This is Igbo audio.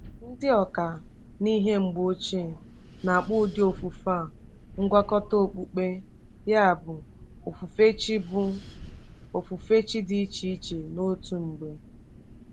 Ndị ọkà n’ihe mgbe ochie na-akpọ ụdị ofufe a ngwakọta okpukpe, ya bụ ofufe chi bụ ofufe chi dị iche iche n’otu mgbe.